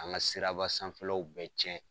An ka siraba sanfɛ law bɛɛ cɛn